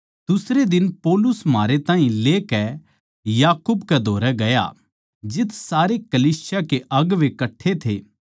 दुसरे दिन पौलुस म्हारै ताहीं लेकै याकूब कै धोरै गया जित्त सारे कलीसिया के अगुवें कट्ठे थे